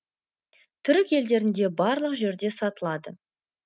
түрік елдерінде барлық жерде сатылады